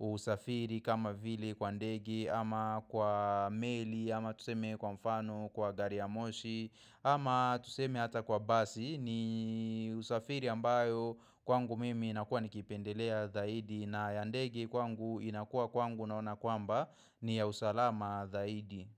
usafiri kama vile kwa ndege ama kwa meli ama tuseme kwa mfano kwa gari ya moshi ama tuseme hata kwa basi ni usafiri ambayo kwangu mimi inakuwa nikipendelea zaidi na ya ndege kwangu inakuwa kwangu naona kwamba ni ya usalama zaidi.